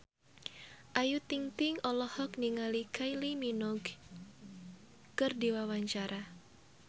Ayu Ting-ting olohok ningali Kylie Minogue keur diwawancara